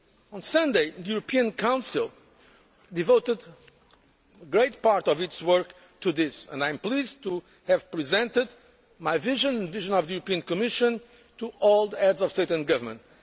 On Sunday the European Council devoted a great part of its work to this, and I am pleased to have presented my vision the vision of the European Commission to all the Heads of State and Government.